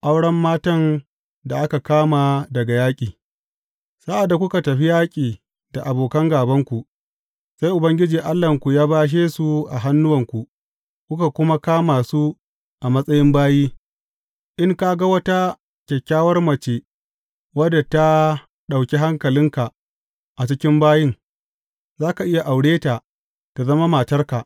Auren matan da aka kama daga yaƙi Sa’ad da kuka tafi yaƙi da abokan gābanku, sai Ubangiji Allahnku ya bashe su a hannuwanku kuka kuma kama su a matsayin bayi, in ka ga wata kyakkyawar mace wadda ta ɗauki hankalinka a cikin bayin, za ka iya aure ta tă zama matarka.